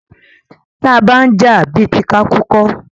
Taa bá ń jà, bí ti ká kú kọ́.